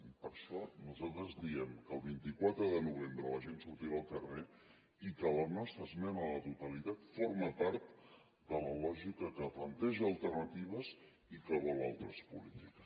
i per això nosaltres diem que el vint quatre de novembre la gent surti al carrer i que la nostra esmena a la totalitat forma part de la lògica que planteja alternatives i que vol altres polítiques